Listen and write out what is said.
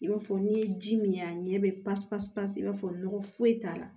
I b'a fɔ n'i ye ji min a ɲɛ bɛ pasi pasi pasi i b'a fɔ nɔgɔ foyi t'a la